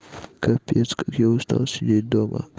капец как я устал сидеть дома